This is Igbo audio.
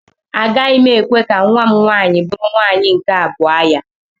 Agaghị m ekwe ka nwa m nwaanyị bụrụ nwaanyị nke abụọ ya.